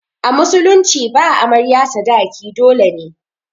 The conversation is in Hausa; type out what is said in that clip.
A musulunci ba amarya sadaki dole ne.